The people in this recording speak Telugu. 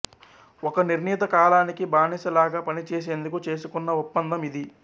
ఒక నిర్ణిత కాలానికి బానిస లాగా పనిచేసేందుకు చేసుకున్న ఒప్పందం ఇది